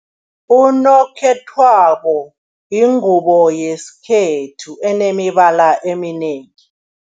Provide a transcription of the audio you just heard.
Unokhethwabo yingubo yesikhethu enemibala eminengi.